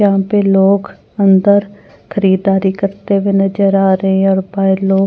जहां पे लोग अंदर खरीददारी करते हुए नजर आ रहे हैं और --